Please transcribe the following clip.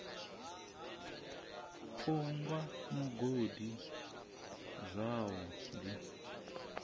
u gwa mugodi zwavhu ḓi